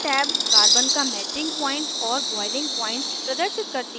यह tab carbon का melting point और boiling point प्रदर्शित करती है